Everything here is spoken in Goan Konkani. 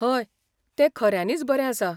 हय, तें खऱ्यांनीच बरें आसा.